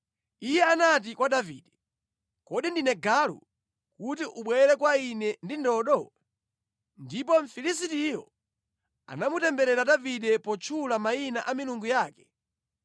Iye anati kwa Davide, “Kodi ndine galu, kuti ubwere kwa ine ndi ndodo?” Ndipo Mfilisitiyo anamutemberera Davide potchula mayina a milungu yake.